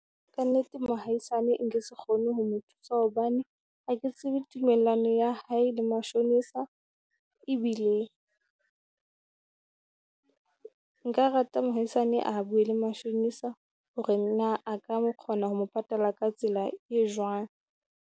Kannete mohaisane nke se kgone ho mo thusa, hobane ha ke tsebe tumellano ya hae le mashonisa. Ebile nka rata mohaisane a bue le mashonisa, hore na a ka kgona ho mo patala ka tsela e jwang?